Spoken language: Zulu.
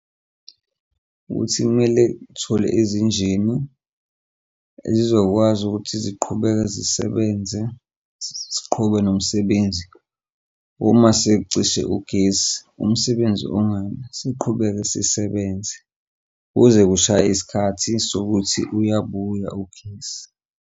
Ukuthi kumele sithole ezinjinini ezizokwazi ukuthi ziqhubeke nomsebenze ziqhubeke nomsebenzi. Uma secishe ugesi, umsebenzi ungami siqhubeke sisebenze kuze kushaye isikhathi sokuthi uyabuya ugesi.